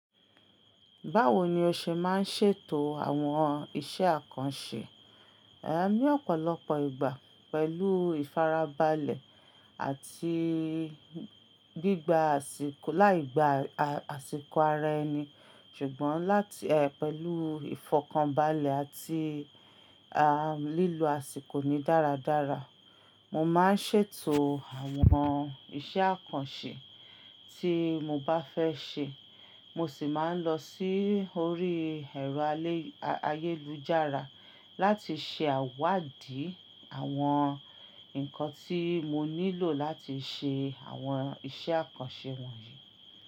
Báwo ni o ṣe máa ń ṣètò àwọn iṣẹ́ àkànṣe? Ní ọ̀pọ̀lọpọ̀ ìgbà pẹ̀lú ìfarabalẹ̀ àti gbígba àsìkò láì gba àsìkò ara ẹni. Ṣùgbọ́n láti pẹ̀lú ìfọ̀kànbalẹ̀ àti lílo àsìkò ni dáradára, mo máa ń ṣètò àwọn iṣẹ́ àkànṣe tí mo bá fẹ́ ṣe. Mo sì máa ń lọ sí orí ẹ̀rọ ayélujára láti ṣe àwáàdí àwọn nǹkan tí mo nílò láti ṣe àwọn iṣẹ́ àkànṣe wọ̀nyí.